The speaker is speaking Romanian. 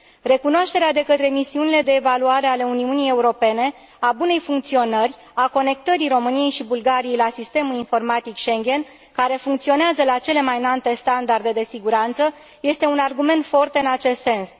Recunoașterea de către misiunile de evaluare ale Uniunii Europene a bunei funcționări, a conectării României și Bulgariei la Sistemul de Informații Schengen, care funcționează la cele mai înalte standarde de siguranță, este un argument forte în acest sens.